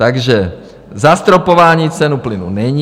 Takže zastropování ceny plynu není.